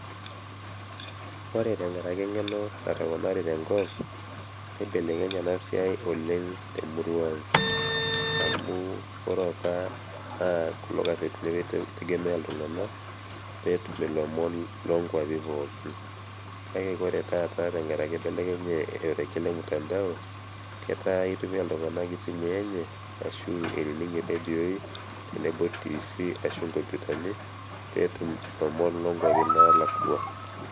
Ore tenkaraki eng'eno natoponari tenkop neibelekenye ena siai oleng' te mrua aang' amu ore apa naa kulo kasetini apa itegemea iltung'anak pee etum ilom loonkuapi pookin kake ore taata tenkaraki ibelekenye orrekie le mtandao ketaa keeta iltung'anak esimui enye ashu inining iredioi tenebo television ashu inkompyutani pee etum ilom loonkwapi naalakua.